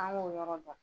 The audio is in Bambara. An k'o yɔrɔ dɔn